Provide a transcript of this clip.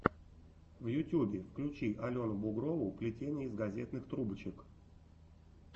в ютюбе включи алену бугрову плетение из газетных трубочек